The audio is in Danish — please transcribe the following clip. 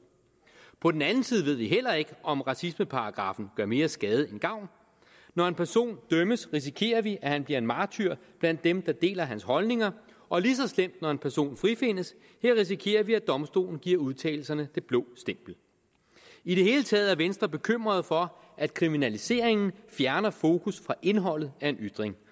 på den anden side ved vi heller ikke om racismeparagraffen gør mere skade end gavn når en person dømmes risikerer vi at han bliver en martyr blandt dem der deler hans holdninger og lige så slemt når en person frifindes her risikerer vi at domstolen giver udtalelserne det blå stempel i det hele taget er venstre bekymret for at kriminaliseringen fjerner fokus fra indholdet af en ytring